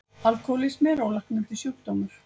Alkohólismi er ólæknandi sjúkdómur.